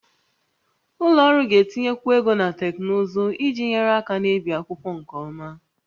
Ụlọ ọrụ ga-etinyekwu ego na teknụzụ iji nyere aka na-ebi akwụkwọ nke ọma